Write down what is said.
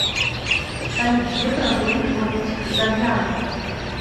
салют где проводит отпуск завьялова